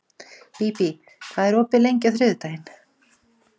Bíbí, hvað er opið lengi á þriðjudaginn?